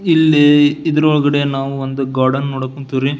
ಇಲ್ಲಿ ಇದರ ಒಳಗಡೆ ನಾವು ಒಂದು ಗಾರ್ಡನ್ ನೋಡಕ್ ಹೋನ್ತಿವ್ರಿ.